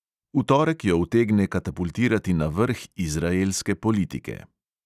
V torek jo utegne katapultirati na vrh izraelske politike.